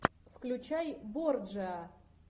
включай борджиа